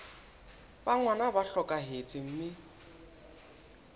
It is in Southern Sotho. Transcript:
ba ngwana ba hlokahetse mme